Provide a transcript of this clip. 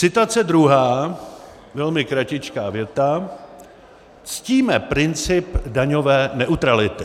Citace druhá, velmi kratičká věta: "Ctíme princip daňové neutrality."